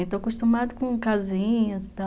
Estou acostumada com casinhas e tal.